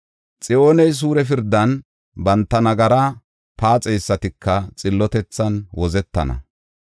Xiyooney suure pirdan, banta nagara paaxeysatika xillotethan wozetana.